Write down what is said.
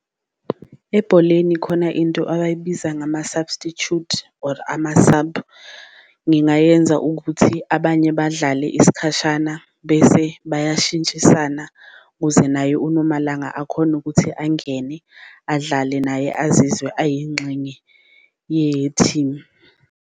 Ebholeni khona into abayibiza ngama-substitute or ama-sub, ngingayenza ukuthi abanye badlale isikhashana bese bayashintshisana kuze naye uNomalanga akhone ukuthi angene, adlale naye azizwe ayingxenye yethimu.